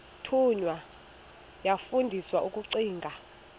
thunywa yafundiswa ukugcina